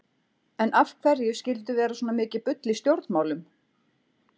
En af hverju skyldi vera svona mikið bull í stjórnmálum?